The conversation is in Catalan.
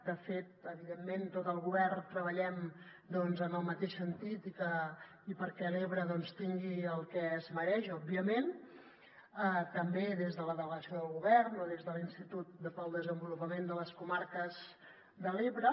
de fet evidentment tot el govern treballem en el mateix sentit i perquè l’ebre doncs tingui el que es mereix òbviament també des de la delegació del govern o des de l’institut per al desenvolupament de les comarques de l’ebre